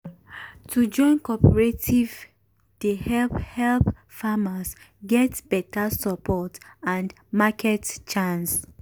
to join cooperative dey help help farmers get beta support and market chance.